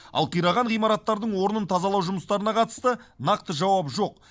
ал қираған ғимараттардың орнын тазалау жұмыстарына қатысты нақты жауап жоқ